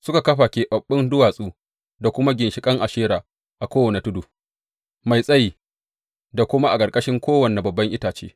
Suka kafa keɓaɓɓun duwatsu da kuma ginshiƙan Ashera a kowane tudu mai tsayi da kuma a ƙarƙashin kowane babban itace.